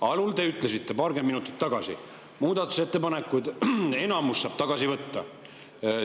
Alul, paarkümmend minutit tagasi, te ütlesite: muudatusettepanekuid saab enamus tagasi võtta.